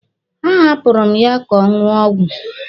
A hapụrụ m ya ka ọ ṅụọ ọgwụ.